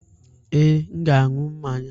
Ee, m ga-aṅụ mmanya.